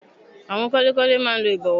Àwọn kọ́lékọ́lé máa n lo ìbọ̀wọ́